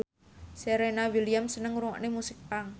Serena Williams seneng ngrungokne musik punk